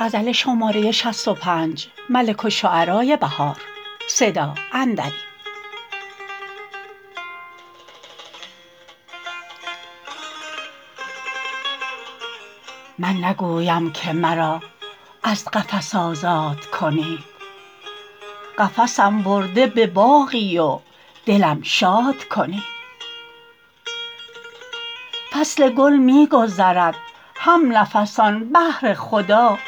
من نگویم که مرا از قفس آزاد کنید قفسم برده به باغی و دلم شاد کنید فصل گل می گذرد هم نفسان بهر خدا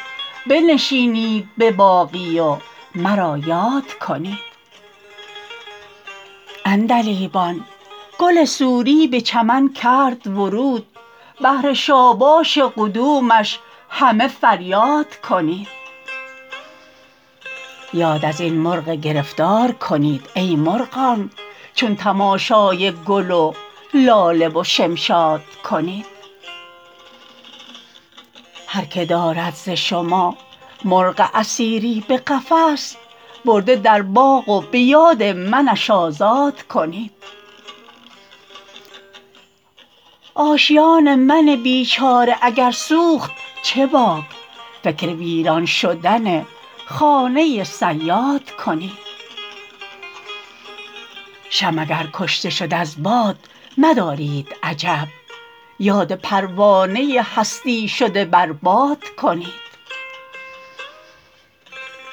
بنشینید به باغی و مرا یاد کنید عندلیبان گل سوری به چمن کرد ورود بهر شاباش قدومش همه فریاد کنید یاد از این مرغ گرفتار کنید ای مرغان چون تماشای گل و لاله و شمشاد کنید هرکه دارد ز شما مرغ اسیری به قفس برده در باغ و به یاد منش آزاد کنید آشیان من بیچاره اگر سوخت چه باک فکر ویران شدن خانه صیاد کنید شمع اگر کشته شد از باد مدارید عجب یاد پروانه هستی شده بر باد کنید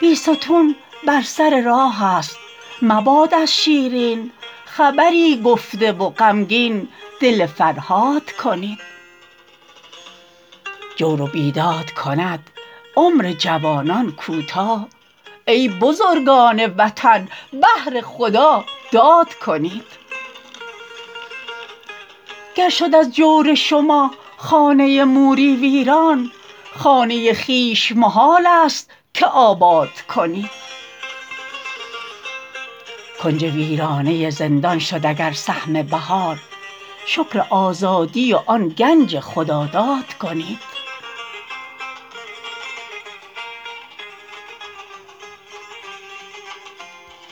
بیستون بر سر راه است مباد از شیرین خبری گفته و غمگین دل فرهاد کنید جور و بیداد کند عمر جوانان کوتاه ای بزرگان وطن بهر خدا داد کنید گر شد از جور شما خانه موری ویران خانه خویش محالست که آباد کنید کنج ویرانه زندان شد اگر سهم بهار شکر آزادی و آن گنج خداداد کنید